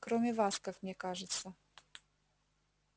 кроме вас как мне кажется